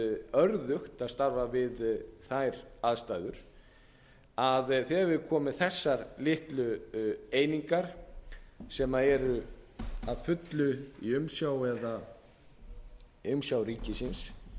örðugt að starfa við þær aðstæður þegar við erum komin með þessar litlu einingar sem eru að fullu í umsjá ríkisins